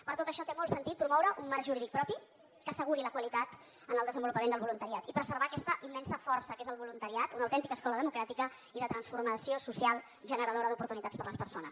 per tot això té molt sentit promoure un marc jurídic propi que asseguri la qualitat en el desenvolupament del voluntariat i preservar aquesta immensa força que és el voluntariat una autèntica escola democràtica i de transformació social generadora d’oportunitats per a les persones